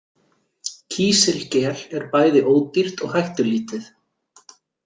Kísilgel er bæði ódýrt og hættulítið.